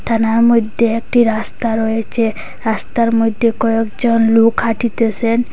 থানার মইধ্যে একটি রাস্তা রয়েচে রাস্তার মইধ্যে কয়েকজন লোক হাটিতেসেন।